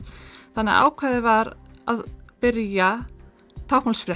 þannig að ákveðið var að byrja